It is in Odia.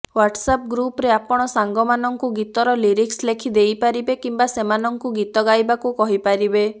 ହ୍ବାଟସଆପ୍ ଗ୍ରୁପ୍ ରେ ଆପଣ ସାଙ୍ଗମାନଙ୍କୁ ଗୀତର ଲିରିକ୍ସ ଲେଖି ଦେଇପାରିବେ କିମ୍ବା ସେମାନଙ୍କୁ ଗୀତ ଗାଇବାକୁ କହିପାରିବେ